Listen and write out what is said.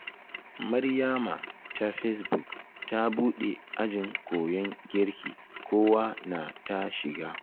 Maryama ta fesbuk ta buɗe ajin koyon girki kowa na ta shiga